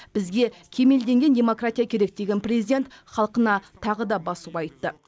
бізге кемелденген демократия керек деген президент халқына тағы да басу айтты